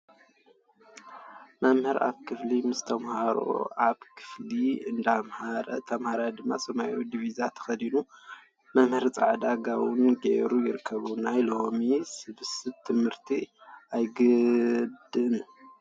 መምህር ኣብ ክፍሊ ምስ ተማሃሮ ኣብ ክፍሊ እንዳመሃረን ተማሃሮ ድማ ሰማያዊ ዲብዛ ተከዲኖም መምህር ፃዕዳ ጋቦን ገይሩ ይርከቡ። ናይሎ ሎሚ ሰብስ ትምህርቲ ኣይግድን!